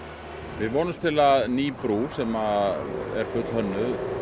við vonumst til að ný brú sem er fullhönnuð